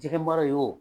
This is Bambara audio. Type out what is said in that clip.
Jɛgɛmara ye wo